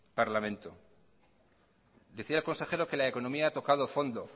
parlamento decía el consejero que la economía ha tocado fondo